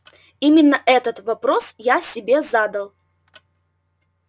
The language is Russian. именно этот вопрос я себе задал